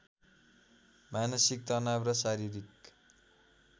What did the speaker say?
मानसिक तनाव र शारीरिक